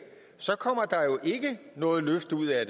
så kommer der jo ikke noget løft ud af